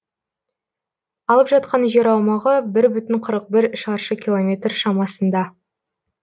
алып жатқан жер аумағы бір бүтін қырық бір шаршы километр шамасында